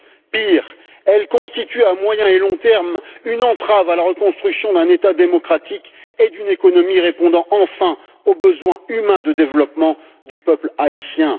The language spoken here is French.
Pire, elle constitue à moyen et long terme une entrave à la reconstruction d'un État démocratique et d'une économie répondant enfin aux besoins humains de développement du peuple haïtien.